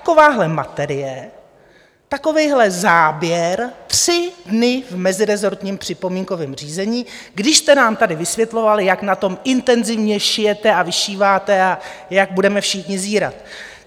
Takováhle materie, takovýhle záběr tři dny v mezirezortním připomínkovém řízení, když jste nám tady vysvětlovali, jak na tom intenzivně šijete a vyšíváte a jak budeme všichni zírat.